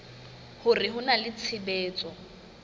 hore ho na le tshebetso